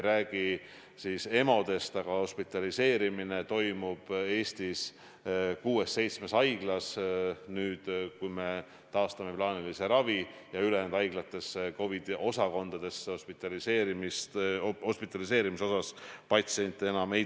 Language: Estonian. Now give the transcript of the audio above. Jällegi küsimus on, et kui haiglatel ei ole arusaadavalt olnud plaanis nende investeeringute tegemine, aga see on patsientide tervise huvides vajalik, siis kas on valitsusel selliste vältimatute investeeringute rahastamiseks plaan.